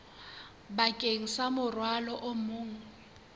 bakeng sa morwalo o mong